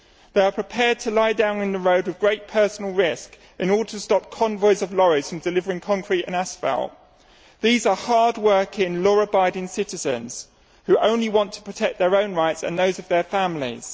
They are prepared to lie down in the road at great personal risk in order to stop convoys of lorries from delivering concrete and asphalt. These are hardworking, law abiding citizens who only want to protect their own rights and those of their families.